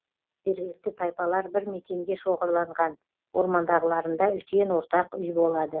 жергілікті тайпалар бір мекенге шоғырланған ормандағыларында үлкен ортақ үй болады